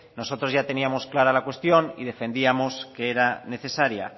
nosotros ya teníamos clara la cuestión y defendíamos que era necesaria